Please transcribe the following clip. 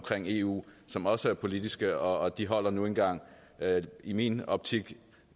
for eu som også er politiske og de holder nu engang i min optik